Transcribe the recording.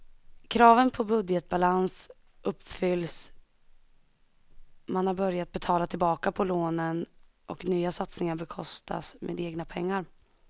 Kraven på budgetbalans uppfylls, man har börjat betala tillbaka på lånen och nya satsningar bekostas med egna pengar.